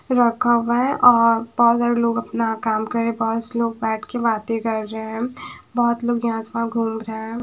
रखा हुआ है और बहोत सारे लोग अपना काम करें पास लोग बैठ के बातें कर रहे बहोत लोग यहां आस पास घूम रहें--